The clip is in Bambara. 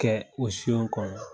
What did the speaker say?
Kɛ o siyon kɔnɔ.